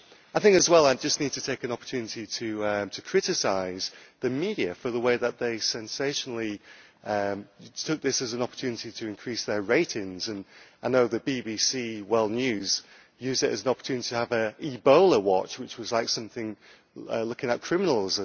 I would also like to take this opportunity to criticise the media for the way that they sensationally took this as an opportunity to increase their ratings and I know the BBC World News used it as an opportunity to have an Ebola watch', which was something like looking at criminals.